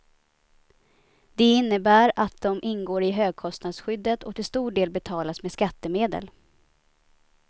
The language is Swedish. Det innebär att de ingår i högkostnadsskyddet och till stor del betalas med skattemedel.